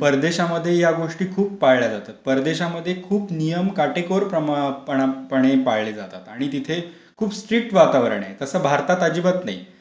परदेशमध्ये ह्या गोष्टी खूप पाळल्या जातात, परदेशमध्ये खूप नियम काटेकोरपणे पाळले जातात आणि तिथे खूप स्ट्रिक्ट वातावरण आहे. असं भारतात अजिबात नाही.